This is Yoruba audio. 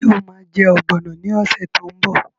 Ṣé o ma jẹ́ ọ̀gbọ̀nọ̀ ní ọ̀sẹ̀ tó ń bọ̀?